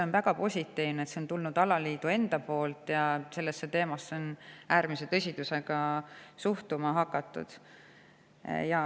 On väga positiivne, et see on tulnud alaliidu enda poolt ja sellesse teemasse on äärmise tõsidusega suhtuma hakatud.